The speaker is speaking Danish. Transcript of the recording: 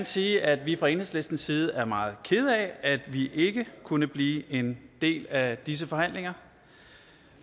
sige at vi fra enhedslistens side er meget kede af at vi ikke kunne blive en del af disse forhandlinger